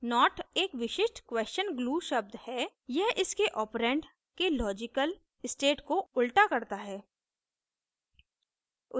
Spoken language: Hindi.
not एक विशिष्ट क्वेशन glue शब्द है यह इसके operand के logical state को उल्टा करता है